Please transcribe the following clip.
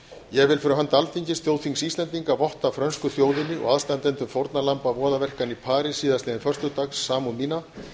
ég vil fyrir hönd alþingis þjóðþings íslendinga votta frönsku þjóðinni og aðstandendum fórnarlamba voðaverkanna í parís síðastliðinn föstudag samúð mína